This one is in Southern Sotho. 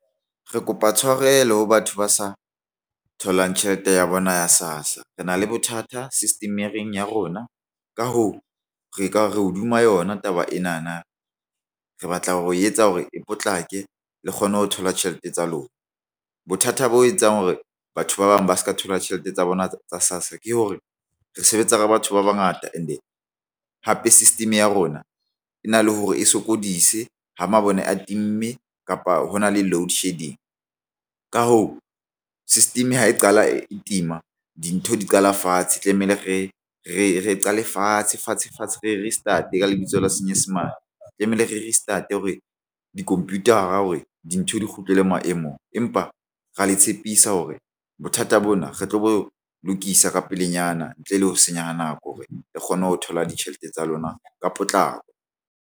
Re kopa tshwarelo ho batho ba sa tholang tjhelete ya bona ya SASSA rena le bothata system-ring ya rona. Ka hoo re ka re hodima yona taba ena na re batla ho e etsa hore e potlake le kgonne ho thola tjhelete tsa lona. Bothata bo etsang hore batho ba bang ba se ka thola tjhelete tsa bona tsa SASSA ke hore re sebetsa ka batho ba bangata and hape system ya rona e na le hore e sokodise ho mabone a time kapa hona le loadshedding. Ka hoo, system ho e qala e tima dintho di qala fatshe tlamehile re qale fatshe fatshe fatshe re restart ka lebitso la Senyesemane tlamehile re restart hore di-computer-a hore dintho di kgutlele maemong, empa ra le tshepisa hore bothata bona re tlo lokisa ka pelenyana ntle le ho senya nako hore re kgone ho thola ditjhelete tsa lona ka potlako.